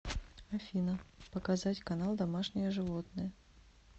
афина показать канал домашние животные